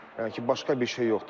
Yəni ki, başqa bir şey yoxdur burda.